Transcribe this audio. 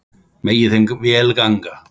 Megi þeim vel ganga.